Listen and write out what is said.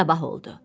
Sabah oldu.